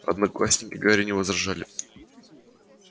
одноклассники гарри не возражали